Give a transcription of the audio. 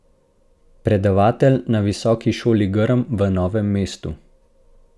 Predavatelj na Visoki šoli Grm v Novem mestu.